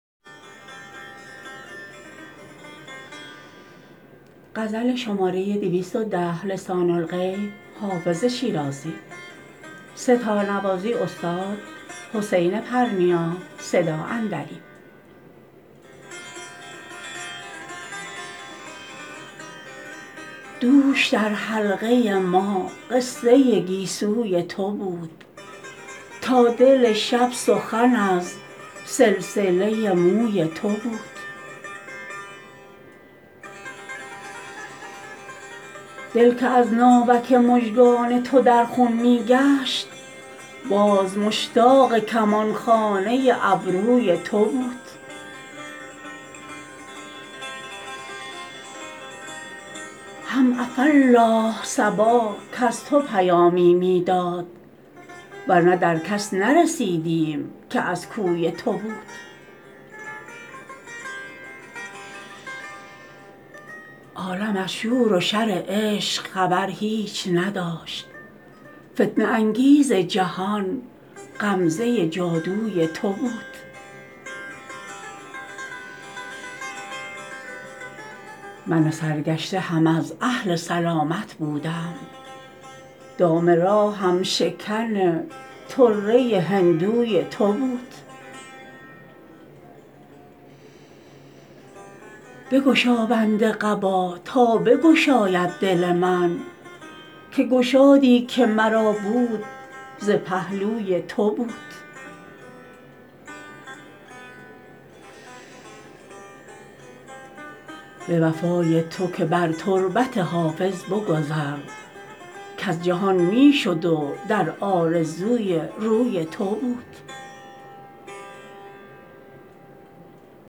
دوش در حلقه ما قصه گیسوی تو بود تا دل شب سخن از سلسله موی تو بود دل که از ناوک مژگان تو در خون می گشت باز مشتاق کمان خانه ابروی تو بود هم عفاالله صبا کز تو پیامی می داد ور نه در کس نرسیدیم که از کوی تو بود عالم از شور و شر عشق خبر هیچ نداشت فتنه انگیز جهان غمزه جادوی تو بود من سرگشته هم از اهل سلامت بودم دام راهم شکن طره هندوی تو بود بگشا بند قبا تا بگشاید دل من که گشادی که مرا بود ز پهلوی تو بود به وفای تو که بر تربت حافظ بگذر کز جهان می شد و در آرزوی روی تو بود